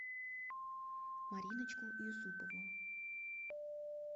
мариночку юсупову